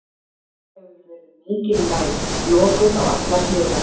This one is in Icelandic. Þar hefur verið mikil lægð, lokuð á allar hliðar.